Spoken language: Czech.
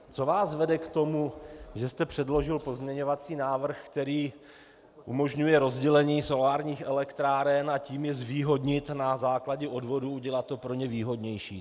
Co vás vede k tomu, že jste předložil pozměňovací návrh, který umožňuje rozdělení solárních elektráren, a tím je zvýhodnit, na základě odvodů udělat to pro ně výhodnější?